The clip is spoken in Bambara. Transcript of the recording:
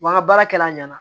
Wa n ka baarakɛla ɲɛna